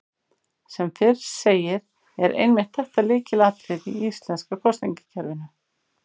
Sem fyrr segir er einmitt þetta lykilatriði í íslenska kosningakerfinu.